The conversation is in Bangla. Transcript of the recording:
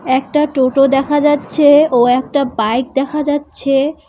একটা টোটো দেখা যাচ্ছে ও একটা বাইক দেখা যাচ্ছে।